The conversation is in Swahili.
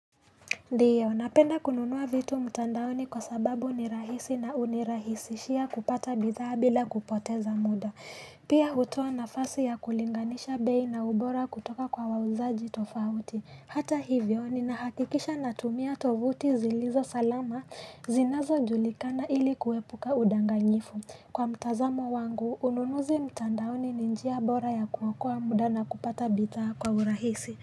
Ndiyo, napenda kununua vitu mtandaoni kwa sababu ni rahisi na unirahisishia kupata bidhaa bila kupoteza muda. Pia hutoa nafasi ya kulinganisha bei na ubora kutoka kwa wauzaji tofauti. Hata hivyo, ninahakikisha natumia tovuti zilizo salama zinazojulikana ili kuepuka udanganyifu. Kwa mtazamo wangu, ununuzi mtandaoni ni njia bora ya kuokoa muda na kupata bidhaa kwa urahisi.